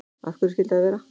Af hverju skyldi það vera?